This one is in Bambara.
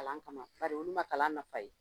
Kalan kama bari, olu ma kalan nafa ye.